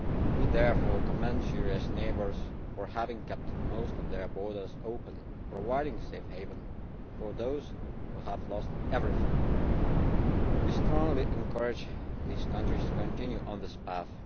We therefore commend Syria's neighbours for having kept most of their borders open, providing a safe haven for those who have lost everything. We strongly encourage these countries to continue on this path.